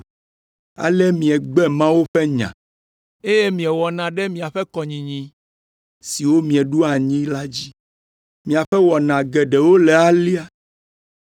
Ale miegbe Mawu ƒe nya, eye miewɔna ɖe miaƒe kɔnyinyi, siwo mieɖo anyi la dzi. Miaƒe wɔna geɖewo le alea.”